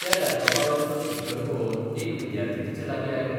त्या लॅपटॉपावेलो तो स्टिकर पळोवन एक विद्यार्थी तिचे लागीं आयलो